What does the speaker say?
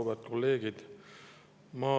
Auväärt kolleegid!